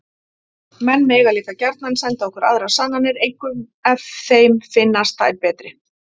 Menn mega líka gjarnan senda okkur aðrar sannanir, einkum ef þeim finnast þær betri!